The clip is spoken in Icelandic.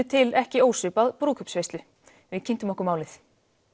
til ekki ósvipað brúðkaupsveislu við kynntum okkur málið